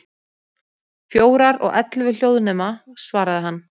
Fjórar, og ellefu hljóðnema, svaraði hann.